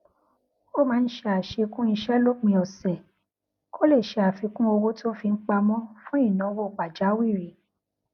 ó máa ń ṣe àṣekún iṣé lópin òsè kó lè ṣe àfikún owó tó ń fi pamọ fún ìnáwó pàjáwìrì